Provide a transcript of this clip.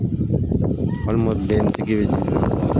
Walima bɛntigi